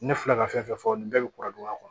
Ne filɛ ka fɛn fɛn fɔ nin bɛɛ bɛ kura don a kɔnɔ